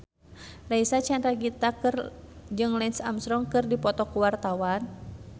Reysa Chandragitta jeung Lance Armstrong keur dipoto ku wartawan